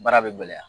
Baara bɛ gɛlɛya